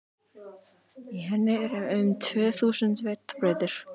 Í henni eru um tvö þúsund vetrarbrautir.